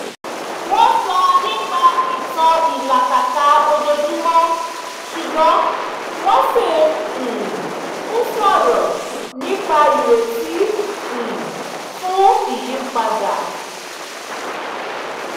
wọ́n sọ nípa ìtàn ìlàkàkà ojoojúmọ́ ṣùgbọ́n wọ́n ṣì um ń sọ̀rọ̀ nípa ìrètí um fún ìyípadà